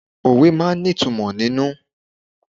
Òwe máa ń ní ìtumò nínú.